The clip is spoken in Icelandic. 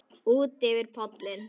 Útyfir pollinn